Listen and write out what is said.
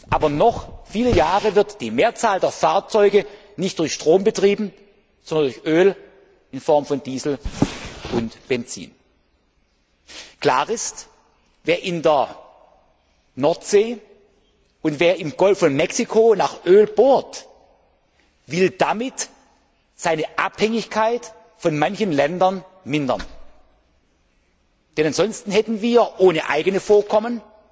Aber noch viele Jahre wird die Mehrzahl der Fahrzeuge nicht durch Strom betrieben, sondern durch Öl in Form von Diesel und Benzin. Klar ist, wer in der Nordsee und wer im Golf von Mexiko nach Öl bohrt, will damit seine Abhängigkeit von manchen Ländern mindern. Denn ansonsten hätten wir ohne eigene Vorkommen